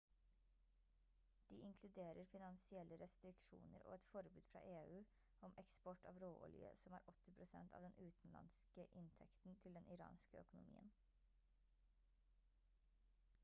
de inkluderer finansielle restriksjoner og et forbud fra eu om eksport av råolje som er 80 % av den utenlandske inntekten til den iranske økonomien